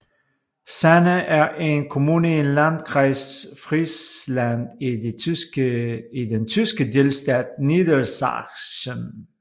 Sande er en kommune i Landkreis Friesland i den tyske delstat Niedersachsen